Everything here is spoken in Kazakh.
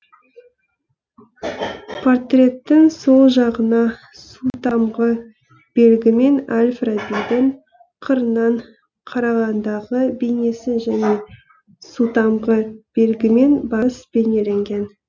портреттің сол жағына сутамғы белгімен әль фарабидің қырынан қарағандағы бейнесі және сутамғы белгімен барыс бейнеленген